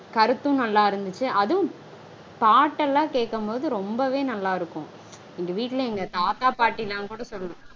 கருத்தும் நல்லா இருந்துச்சு. அதுவும் பாட்டெல்லாம் கேக்கும்போது ரொம்பவே நல்லா இருக்கும். எங்க வீட்ல எங்க தாத்தா பாட்ட்டிலாம் கூட சொல்